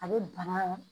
A bɛ bana